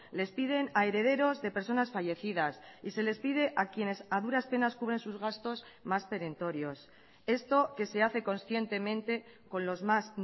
les piden a herederos de personas fallecidas y se les pide a quienes a duras penas cubren sus gastos más perentorios esto que se hace conscientemente con los más